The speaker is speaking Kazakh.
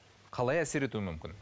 қалай әсер етуі мүмкін